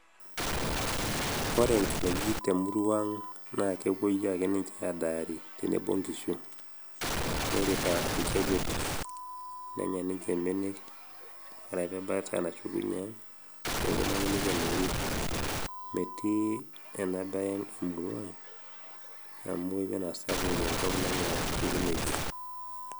ore nkinejik temurua ang' na kepuo ake ninje adaari tenebo onkishu nirita olchekut neta ninje mbenek ore pebaya neshukunyie ang' neponu ake nikenori metii enaa bae emurua amu eton aa sapuk ewueji nanya nkinejik